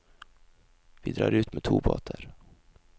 Vi drar ut med to båter.